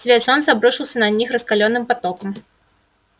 свет солнца обрушился на них раскалённым потоком